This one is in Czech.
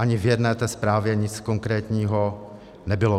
Ani v jedné té zprávě nic konkrétního nebylo.